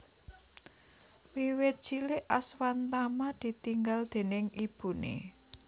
Wiwit cilik Aswatama ditinggal déning ibune